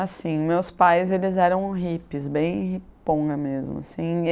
Assim, meus pais, eles eram hippies, bem hipongas mesmo.